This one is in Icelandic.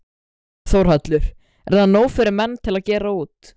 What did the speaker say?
Þórhallur: Er það nóg fyrir menn til að gera út?